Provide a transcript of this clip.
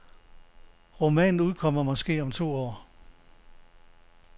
Romanen udkommer måske om to år.